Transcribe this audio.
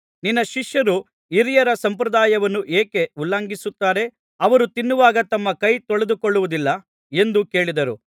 ನಿನ್ನ ಶಿಷ್ಯರು ಹಿರಿಯರ ಸಂಪ್ರದಾಯವನ್ನು ಏಕೆ ಉಲ್ಲಂಘಿಸುತ್ತಾರೆ ಅವರು ತಿನ್ನುವಾಗ ತಮ್ಮ ಕೈ ತೊಳೆದುಕೊಳ್ಳುವುದಿಲ್ಲ ಎಂದು ಕೇಳಿದರು